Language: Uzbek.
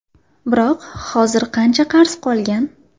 Biroq hozir qancha qarz qolgan?